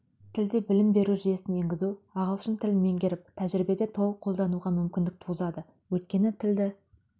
тілде білім беру жүйесін енгізу ағылшын тілін меңгеріп тәжірибеде толық қолдануға мүмкіндік туғызады өйткені тілді